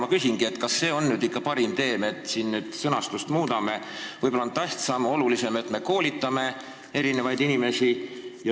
Ma küsingi, kas see on ikka parim tee, et me siin vaid sõnastust muudame, võib-olla on tähtsam, olulisem, et me inimesi koolitame.